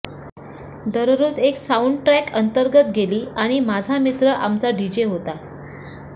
दररोज एक नवीन साउंडट्रॅक अंतर्गत गेली आणि माझा मित्र आमचा डीजे होता